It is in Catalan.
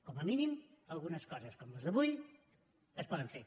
com a mínim algunes coses com les d’avui es poden fer